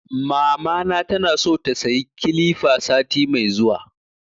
Mamana tana so ta sayi kilifa sati mai zuwa